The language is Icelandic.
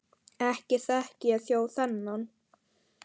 Ekki þekki ég þjó þennan.